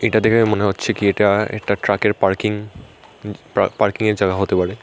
এটা দেখে মনে হচ্ছে কী এটা একটা ট্রাকের পার্কিং পা পার্কিং এর জাগা হতে পারে।